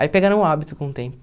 Aí pegaram o hábito com o tempo.